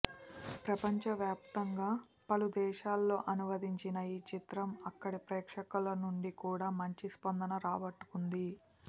ప్రపంచవ్యాప్తంగా పలు దేశాల్లో అనువదించిన ఈ చిత్రం అక్కడి ప్రేక్షకుల నుంచి కూడా మంచి స్పందన రాబట్టుకుంది